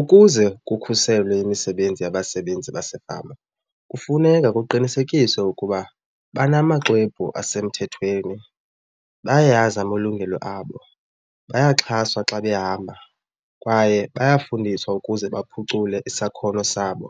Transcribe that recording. Ukuze kukhuselwe imisebenzi yabasebenzi basefama kufuneka kuqinisekiswe ukuba banamaxwebhu asemthethweni, bayayazi amalungelo abo, bayaxhaswa xa behamba kwaye bayafundiswa ukuze baphucule isakhono sabo.